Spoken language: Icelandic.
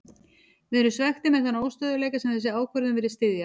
Við erum svekktir með þann óstöðugleika sem þessi ákvörðun virðist styðja.